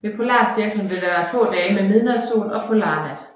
Ved polarcirklen vil der være få dage med midnatssol og polarnat